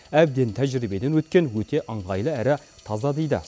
әбден тәжірибеден өткен өте ыңғайлы әрі таза дейді